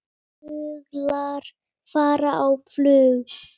Fuglar fara á flug.